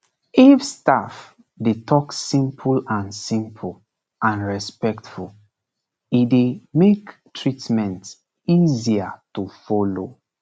if staff dey talk simple and simple and respectful e dey make treatment easier to follow